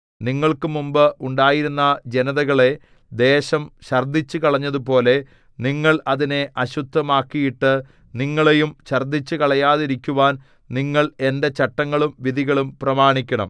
നിങ്ങൾക്ക് മുമ്പ് ഉണ്ടായിരുന്ന ജനതകളെ ദേശം ഛർദ്ദിച്ചുകളഞ്ഞതുപോലെ നിങ്ങൾ അതിനെ അശുദ്ധമാക്കിയിട്ടു നിങ്ങളെയും ഛർദ്ദിച്ചുകളയാതിരിക്കുവാൻ നിങ്ങൾ എന്റെ ചട്ടങ്ങളും വിധികളും പ്രമാണിക്കണം